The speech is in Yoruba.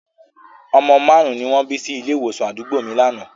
Ọmọ márùn-ún ni wọ́n bí sí ilé ìwòsàn àdúgbò mi lánàá